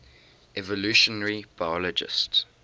evolutionary biologists